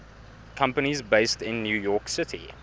companies based in new york city